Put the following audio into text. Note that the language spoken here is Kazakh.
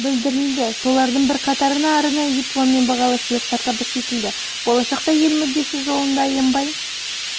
білдірілді солардың бірқатарына арнайы диплом мен бағалы сыйлықтар табыс етілді болашақта ел мүддесі жолында аянбай